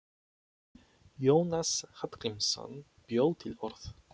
Jónas Hallgrímsson bjó til orð.